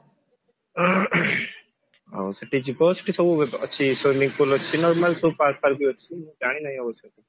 ଆଉ ସେଠି ଜିବ ସେଠି ସବୁ ଅଛି swimming pool ଅଛି normal ସବୁ park ଫାର୍କ ବି ଅଛି ଜାଣିନାହିଁ ଅବଶ୍ୟ